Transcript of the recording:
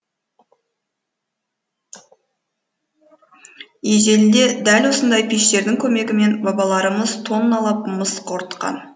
ежелде дәл осындай пештердің көмегімен бабаларымыз тонналап мыс қорытқан